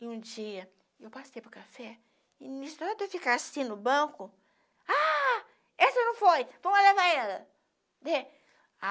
E um dia, eu passei para o café e, em história de eu ficar assim no banco, ah, essa não foi, então vamos levar ela.